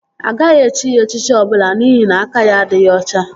Agaghị echi ya echichi ọbụla n'ihi na aka ya adịghị ọcha